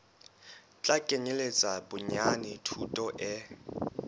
tla kenyeletsa bonyane thuto e